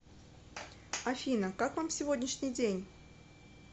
афина как вам сегодняшний день